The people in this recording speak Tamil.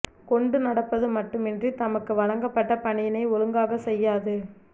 கொண்டு நடப்பது மட்டுமின்றி தமக்கு வழங்கப்பட்ட பணியினை ஒழுங்காகச் செய்யாது